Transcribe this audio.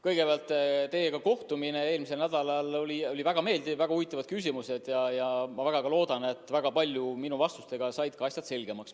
Kõigepealt, teiega kohtumine eelmisel nädalal oli väga meeldiv, olid väga huvitavad küsimused, ja ma väga loodan, et minu vastustega said asjad selgemaks.